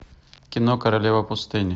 кино королева пустыни